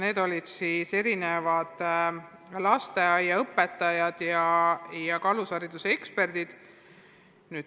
Selle esitasid lasteaiaõpetajad ja alushariduse eksperdid.